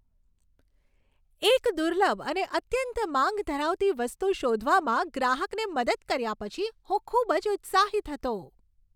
એક દુર્લભ અને અત્યંત માંગ ધરાવતી વસ્તુ શોધવામાં ગ્રાહકને મદદ કર્યા પછી, હું ખૂબ જ ઉત્સાહિત હતો.